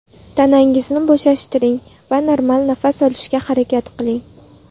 Tanangizni bo‘shashtiring va normal nafas olishga harakat qiling.